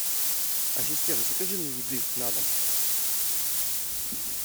ассистент закажи мне еды на дом